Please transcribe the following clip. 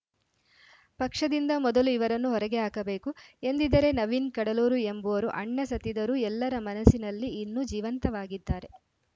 ಪಕ್ಷದಿಂದ ಮೊದಲು ಇವರನ್ನು ಹೊರಗೆ ಹಾಕಬೇಕು ಎಂದದರೆ ನವೀನ್‌ ಕಡಲೂರು ಎಂಬುವರು ಅಣ್ಣ ಸತ್ತಿದರೂ ಎಲ್ಲರ ಮನಸಿನಲ್ಲಿ ಇನ್ನು ಜೀವಂತವಾಗಿದ್ದಾರೆ